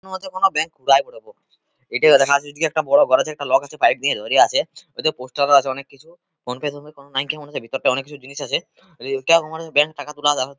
এটির মধ্যে কোন ব্যাংক লাগল | এদিকে দেখা যাচ্ছে বড় ঘর আছে লগ আছে| একটা বড় পাইপ নিয়ে ধরে আছে। ওদিকে পোস্টার আছে অনেক কিছু ব্যাংক -এর ভিতরটা অনেক কিছু জিনিস আছে | টাকা তোলা যাবে --